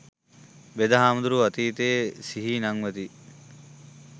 වෙද හාමුදුරුවෝ අතීතය සිහි නංවති